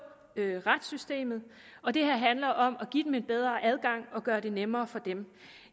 retssystemet og det her handler om at give dem en bedre adgang og gøre det nemmere for dem